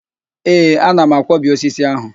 Ee, ana m akwọbi osisi ahụ